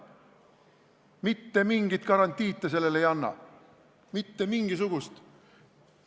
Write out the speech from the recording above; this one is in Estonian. Mitte mingit garantiid te ei anna, mitte mingisugust.